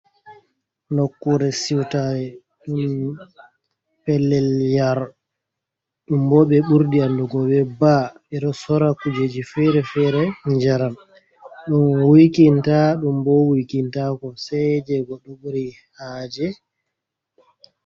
Nokkure siwtare ɗum pellel yar ɗum bo ɓe ɓurdi andugo be "bar". Ɓeɗo sora kujeji fere-fere njaram ɗum wuikinta ɗum bo wuikintako sei je goɗɗo ɓuri haaje.